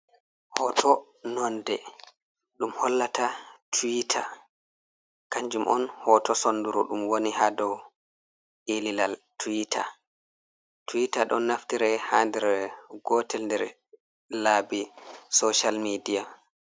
Hoto nonde ɗum hollata twita, kanjum on hoto sonduru ɗum woni ha dow ililal twita, twita ɗon naftira ha nder gotel nder labbi social media.